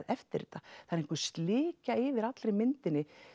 eftir þetta það er einhver slikja yfir allri myndinni